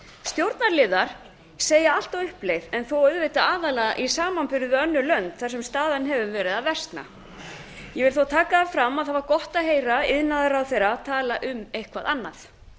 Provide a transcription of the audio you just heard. stjórnarliðar segja allt á uppleið en þó auðvitað aðallega í samanburði við önnur lönd þar sem staðan hefur verið að versna ég vil þó taka það fram að það var gott að heyra iðnaðarráðherra tala um eitthvað annað